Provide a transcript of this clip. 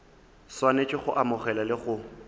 swanetše go amogela le go